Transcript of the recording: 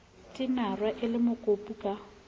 tinare e le mokopu ka